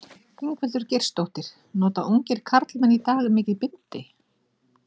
Ingveldur Geirsdóttir: Nota ungir karlmenn í dag mikið bindi?